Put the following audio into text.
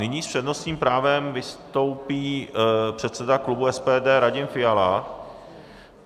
Nyní s přednostním právem vystoupí předseda klubu SPD Radim Fiala.